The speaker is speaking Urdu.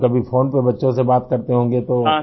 تو کبھی فون پر بچوں سے بات کرتے ہوں گے ؟